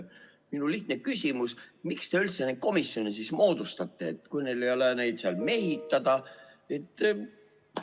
Minu lihtne küsimus: miks te siis üldse neid komisjone moodustate, kui neid ei ole kellegagi mehitada?